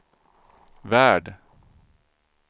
värld